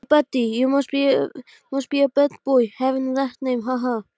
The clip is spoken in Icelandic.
Hún hafði ekki náð að gera það fyrir áramótin.